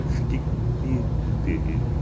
Eu fiquei com medo terrível.